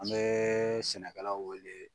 An bɛ sɛnɛkalaw wele.